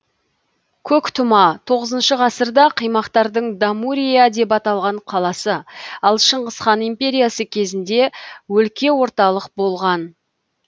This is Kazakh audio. көктұма тоғызыншы ғасырда қимақтардың дамурия деп аталған қаласы ал шыңғыс хан империясы кезінде өлке орталық болған